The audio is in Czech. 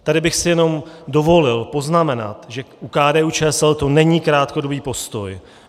Tady bych si jenom dovolil poznamenat, že u KDU-ČSL to není krátkodobý postoj.